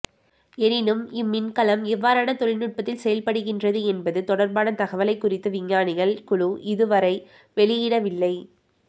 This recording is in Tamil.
எனினும் இம் மின்கலம் எவ்வாறான தொழில்நுட்பத்தில் செயற்படுகின்றது என்பது தொடர்பான தகவலை குறித்த விஞ்ஞானிகள் குழு இதுவரை வெளியிடவில்லை